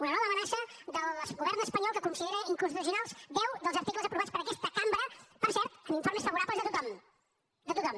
una nova amenaça del govern espanyol que considera inconstitucionals deu dels articles aprovats per aquesta cambra per cert amb informes favorables de tothom de tothom